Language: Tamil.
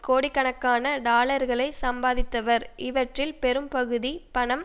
கோடிக்கணக்கான டாலர்களை சம்பாதித்தவர் இவற்றில் பெரும்பகுதி பணம்